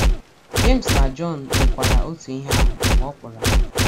Jems na Jọn mekwara otu ihe ahụ mgbe ọ kpọrọ ha.